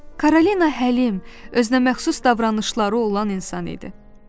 Karolina Həlim, özünəməxsus davranışları olan insan idi.